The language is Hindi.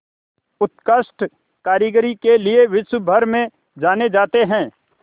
उत्कृष्ट कारीगरी के लिये विश्वभर में जाने जाते हैं